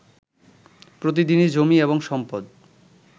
প্রতিদিনই জমি এবং সম্পদ